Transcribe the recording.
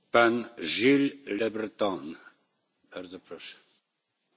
Monsieur le Président, les robots intelligents sont devenus une réalité.